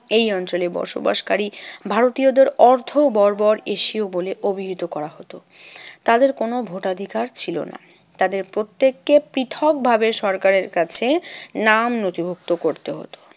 এই অঞ্চলে বসবাসকারী ভারতীয়দের অর্ধ বর্বর এশীয় বলে অভিহিত করা হতো। তাদের কোনো ভোটাধিকার ছিল না। তাদের প্রত্যেককে পৃথকভাবে সরকারের কাছে নাম নথিভুক্ত করতে হতো।